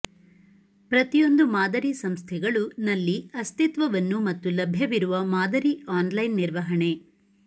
ಪ್ರತಿಯೊಂದು ಮಾದರಿ ಸಂಸ್ಥೆಗಳು ನಲ್ಲಿ ಅಸ್ತಿತ್ವವನ್ನು ಮತ್ತು ಲಭ್ಯವಿರುವ ಮಾದರಿ ಆನ್ಲೈನ್ ನಿರ್ವಹಣೆ